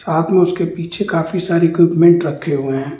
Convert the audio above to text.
हा तो उसके पीछे काफी सारे इक्विपमेंट रखे हुए हैं।